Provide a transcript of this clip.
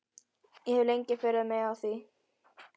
Ég hef lengi furðað mig á því.